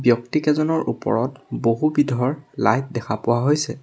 ব্যক্তিকেইজনৰ ওপৰত বহুবিধৰ লাইট দেখা পোৱা হৈছে।